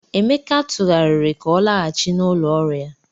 Emeka tụgharịrị ka ọ laghachi n'ụlọ ọrụ ya.